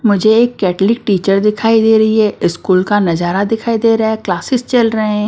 मुझे एक Catholic teacher दिखाई दे रही है स्कूल का नजारा दिखाई दे रहा है क्लासेस चल रहे हैं।